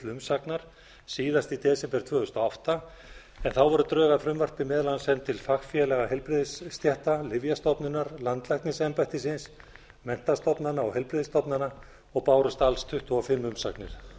umsagnar síðast í desember tvö þúsund og átta en þá voru drög að frumvarpi meðal annars send til fagfélaga heilbrigðisstétta lyfjastofnunar landlæknisembættisins menntastofnana og heilbrigðisstofnana og bárust alls tuttugu og fimm umsagnir